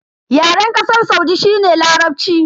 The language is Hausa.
Yaren Kasar Saudi shi ne Larabci.